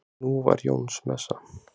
Nú var Jónsmessa.